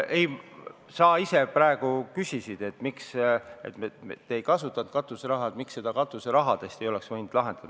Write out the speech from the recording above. Ei, sa ise praegu küsisid, miks me ei kasutanud katuseraha, miks seda katuserahast ei oleks võinud lahendada.